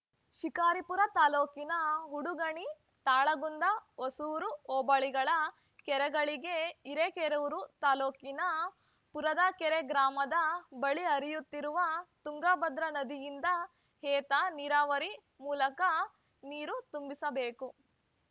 ಶಿಕಾರಿಪುರ ತಾಲೂಕಿನ ಉಡುಗಣಿ ತಾಳಗುಂದ ಹೊಸೂರು ಹೋಬಳಿಗಳ ಕೆರೆಗಳಿಗೆ ಹಿರೇಕೆರೂರು ತಾಲೂಕಿನ ಪುರದಕೆರೆ ಗ್ರಾಮದ ಬಳಿ ಹರಿಯುತ್ತಿರುವ ತುಂಗಭದ್ರಾ ನದಿಯಿಂದ ಏತ ನೀರಾವರಿ ಮೂಲಕ ನೀರು ತುಂಬಿಸಬೇಕು